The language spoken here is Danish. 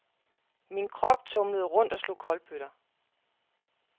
Min krop tumlede rundt og slog kolbøtter.